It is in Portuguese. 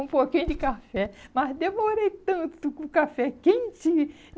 um pouquinho de café, mas demorei tanto com o café quente.